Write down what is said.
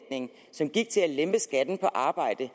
sænke skatten på arbejde